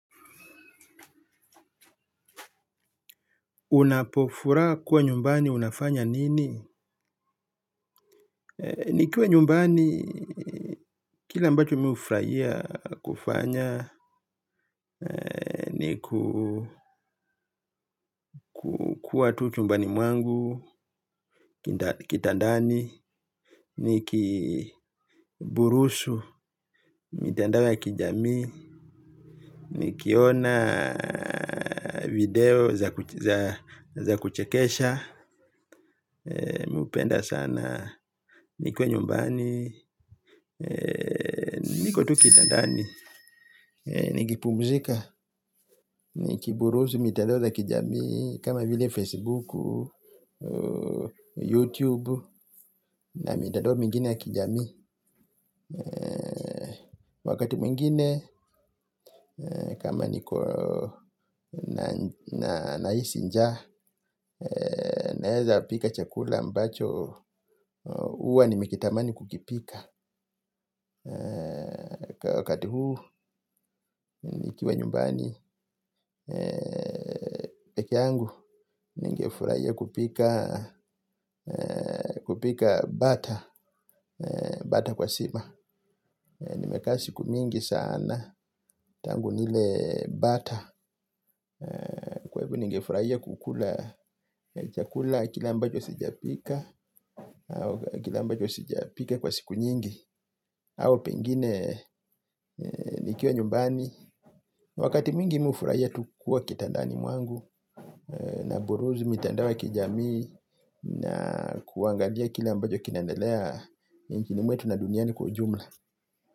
Unapofuraa kuwa nyumbani unafanya nini? Nikiwa nyumbani kile ambacho hufuraia kufanya nikuu ku kua tu chumbani mwangu Kitandani. Nikii burushu mitandao ya kijamii. Nikionaa video za za kuchekesha. Mupenda sanaa nikiwa nyumbani ee niko tu kitandani ee nikipumzika. Nikiburuzi mitandao za kijami kama vile Facebook Youtube na mitandao mingine ya kijamii wakati mwingine ee kama niko na nahisi njaa ee naeza pika chakula ambacho huwa nime kitamani kukipika wakati huu nikiwa nyumbani ee peke angu ningefurahia kupikaa kupikaa bata ee bata kwa sima nimekaa siku mingi saana tangu nilee bata ee. Ningefurahia kukula chakula kile ambacho sijapika kwa siku nyingi au pengine nikiwa nyumbani wakati mwingi mi hufuraia tu kua kitandani mwangu na buruzi mitandao ya kijamii naa kuangalia kile ambacho kinaendelea nchini mwetu na duniani kwa ujumla.